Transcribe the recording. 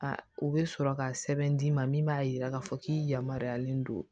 u bɛ sɔrɔ ka sɛbɛn d'i ma min b'a jira k'a fɔ k'i yamaruyalen don